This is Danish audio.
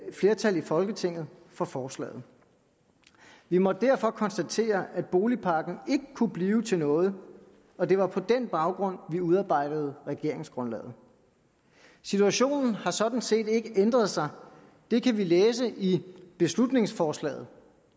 flertal i folketinget for forslaget vi måtte derfor konstatere at boligpakken ikke kunne blive til noget og det var på den baggrund vi udarbejdede regeringsgrundlaget situationen har sådan set ikke ændret sig det kan vi læse i beslutningsforslaget